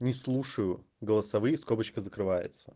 не слушаю голосовые скобочка закрывается